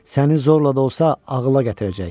Səni zorla da olsa ağıla gətirəcək.